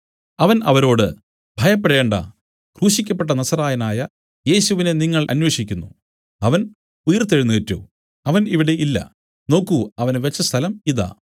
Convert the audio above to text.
അവൻ അവരോട് ഭയപ്പെടേണ്ടാ ക്രൂശിക്കപ്പെട്ട നസറായനായ യേശുവിനെ നിങ്ങൾ അന്വേഷിക്കുന്നു അവൻ ഉയിർത്തെഴുന്നേറ്റു അവൻ ഇവിടെ ഇല്ല നോക്കൂ അവനെ വെച്ച സ്ഥലം ഇതാ